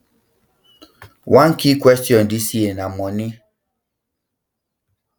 one key question dis year na money um